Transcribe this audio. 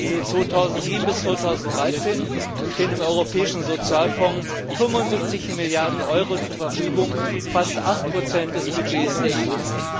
Für 2007 bis 2013 stehen dem Europäischen Sozialfonds 75 Milliarden Euro zur Verfügung, fast 8 des Budgets der EU.